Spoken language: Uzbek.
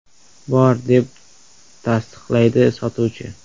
“Bor”, deb tasdiqlaydi sotuvchi.